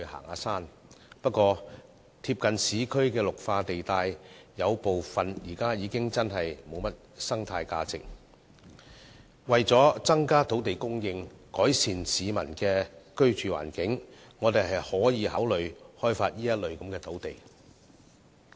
可是，有部分鄰近市區的綠化地帶的生態價值已大為減少，為了增加土地供應量和改善市民的居住環境，政府可考慮開發這些土地。